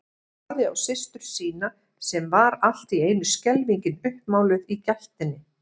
Horfði á systur sína sem var allt í einu skelfingin uppmáluð í gættinni.